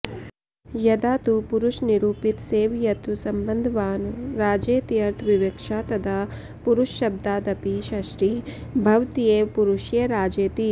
यदा तु पुरुषनिरूपित सेव्यत्वसम्बन्धवान् राजेत्यर्थविवक्षा तदा पुरुषशब्दादपि षष्ठी भवत्येव पुरुषय राजेति